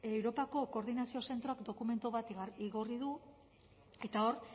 europako koordinazio zentroak dokumentu bat igorri du eta hor